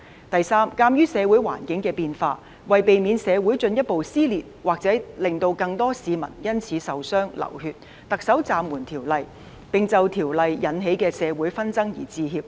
第三，鑒於社會環境的變化，為避免社會進一步撕裂或令更多市民因此受傷、流血，特首暫緩《條例草案》的工作，並就因而引起的社會紛爭致歉。